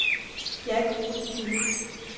Jack Rosenkilde